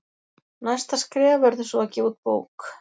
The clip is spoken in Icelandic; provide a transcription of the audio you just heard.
Næsta skref verður svo að gefa út bók.